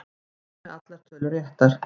Einn með allar tölur réttar